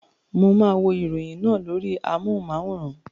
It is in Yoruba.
Mo máa wo ìròyìn náà lórí amohùn-máwórán